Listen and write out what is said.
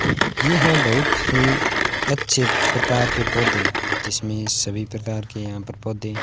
ये हैं बहुत ही अच्छे प्रकार के पौधे जिसमें सभी प्रकार के यहां पर पौधे --